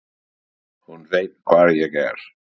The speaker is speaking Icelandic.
Hún veit hvar ég er.